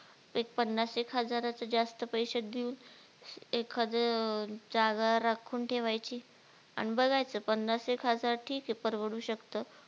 एक पन्नास एक हजाराचं जास्त पैशे देऊन एखादं अं जागा राखून ठेवायची अन बघायचं पन्नास एक हजार ठीक ये परवडू शकतं